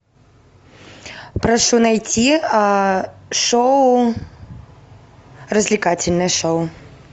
прошу найти а шоу развлекательное шоу